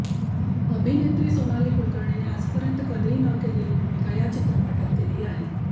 अभिनेत्री सोनाली कुलकर्णीने आजपर्यंत कधीही न केलेली भुमिका या चित्रपटात केली आहे